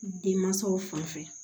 Denmansaw fan fɛ